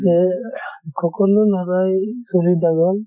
যে সকলো লʼৰাই চুলি দাঘল